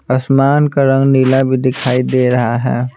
आसमान का रंग नीला भी दिखाई दे रहा है।